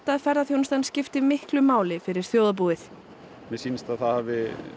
að ferðaþjónustan skipti miklu máli fyrir þjóðarbúið mér sýnist að það hafi